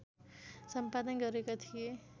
सम्पादन गरेका थिए